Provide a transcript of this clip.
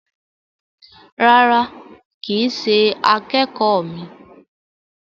Rárá, kìí ṣe akẹ́kọ̀ míì.